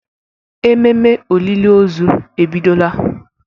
Ememe olili ozu ebidola